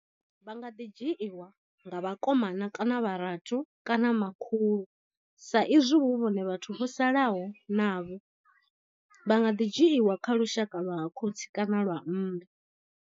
Vha nga ḓi dzhiiwa nga vhakomana kana vharathu kana makhulu sa izwi hu vhone vhathu vho salaho navho. Vha nga ḓi dzhiwa kha lushaka lwa ha khotsi kana lwa mme.